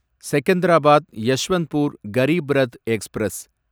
Secunderabad Yeshwantpur Garib Rath express